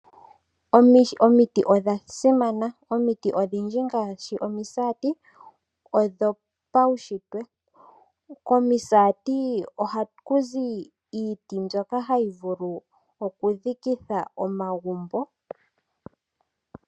Omiti odhasimana. Omiti odhindji ngaashi omiisati odho paushitwe, komiisati ohakuzi iiti mbyoka hayi vulu okudhikithwa omagumbo.